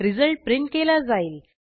result print केला जाईल